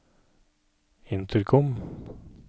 intercom